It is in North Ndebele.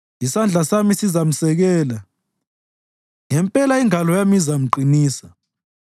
Isandla sami sizamsekela; ngempela ingalo yami izamqinisa.